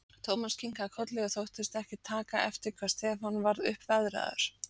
Thomas kinkaði kolli og þóttist ekki taka eftir hvað Stefán varð uppveðraður.